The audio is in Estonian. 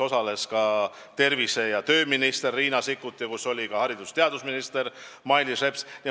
Osalesid ka tervise- ja tööminister Riina Sikkut ning haridus- ja teadusminister Mailis Reps.